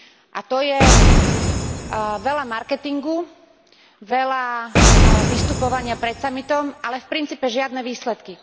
A to je veľa marketingu, veľa vystupovania pred samitom, ale v princípe žiadne výsledky.